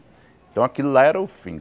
Então aquilo lá era o fim.